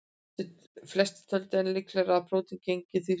Flestir töldu enn líklegra að prótín gegndu því hlutverki.